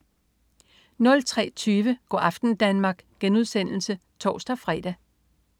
03.20 Go' aften Danmark* (tors-fre)